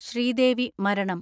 ശ്രീദേവി മരണം